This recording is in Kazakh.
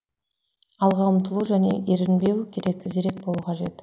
алға ұмтылу және ерінбеу керек зерек болу қажет